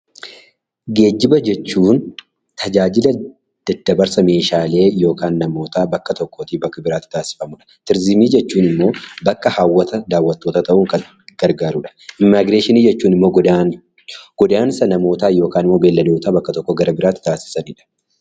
Geejjiba jechuun tajaajila daddabarsa meeshaalee yookiin namootaa bakka tokko irraa gara biraatti taasifamudha. Turiizimii jechuun immoo bakka hawwata daawwattootaa ta'uun gargaarudha. Immigireeshinii jechuun immoo godaansa namootaa yookaan immoo beelladootaa bakka tokko irraa bakka biraatti taasisanidha.